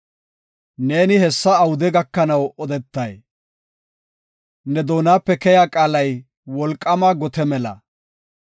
“Neeni hessa awude gakanaw odetay? Ne doonape keya qaalay wolqaama gote mela.